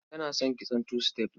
Tana son kitson two step.